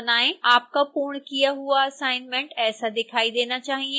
आपका पूर्ण किया हुआ असाइनमेंट ऐसा दिखाई देना चाहिए